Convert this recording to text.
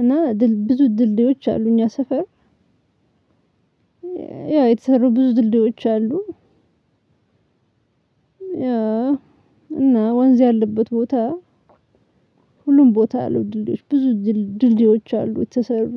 እና ብዙ ድልድዮች አሉ እኛ ሰፈር። ያው የተሰሩ ብዙ ድልድዮች አሉ። እና ወንዝ ያለበት ቦታ። ሁሉም ቦታ ያሉ ድልድዮች ብዙ ድልድዮች አሉ የተሰሩ